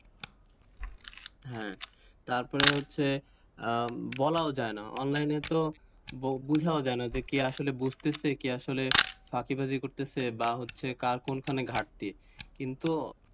হ্যাঁ তারপর হচ্ছে বলাও যায় না অনলাইনে তো বোঝাই যায়না কে আসলে বুঝতেছে কে আসলে ফাকি বাজি করিতেছে বা হচ্ছে কার কোনখানে ঘাটতি? কিন্তু,